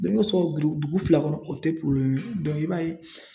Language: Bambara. Denko sɔgɔ giri dugu fila kɔnɔ o tɛ i b'a ye